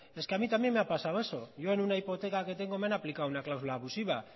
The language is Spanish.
es que a mí también me ha pasado eso yo en una hipoteca que tengo me han aplicado una cláusula abusiva